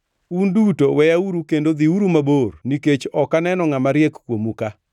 “Un duto weyauru kendo dhiuru mabor nikech ok aneno ngʼama riek kuomu-ka.